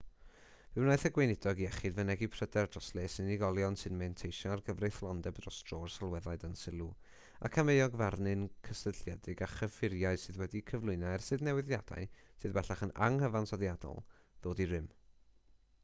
fe wnaeth y gweinidog iechyd fynegi pryder dros les unigolion sy'n manteisio ar gyfreithlondeb dros dro'r sylweddau dan sylw ac am euogfarnau cysylltiedig â chyffuriau sydd wedi'u cyflwyno ers i'r newidiadau sydd bellach yn anghyfansoddiadol ddod i rym